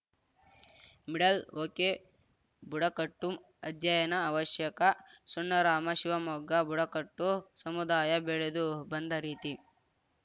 ಮಿಡಲ್‌ಓಕೆಬುಡಕಟ್ಟು ಅಧ್ಯಯನ ಅವಶ್ಯಕ ಸಣ್ಣರಾಮ ಶಿವಮೊಗ್ಗ ಬುಡಕಟ್ಟು ಸಮುದಾಯ ಬೆಳೆದು ಬಂದ ರೀತಿ